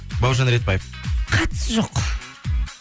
бауыржан ретбаев қатысы жоқ